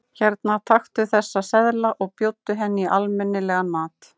Hérna, taktu þessa seðla og bjóddu henni í almenni- legan mat.